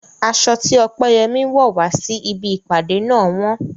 Aṣọ tí Opeyemi wọ̀ wá sí ibi ìpàdé náà wọ́n.